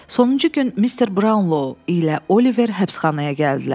Sonuncu gün Mister Braunlo ilə Oliver həbsxanaya gəldilər.